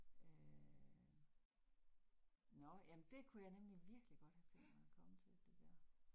Øh nåh jamen det kunne jeg nemlig virkelig godt have tænkt mig at komme til det der